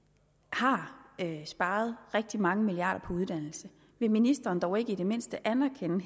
har sparet rigtig mange milliarder på uddannelse vil ministeren dog ikke det mindste anerkende